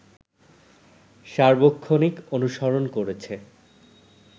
সার্বক্ষণিক অনুসরণ করেছে